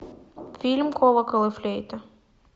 фильм колокол и флейта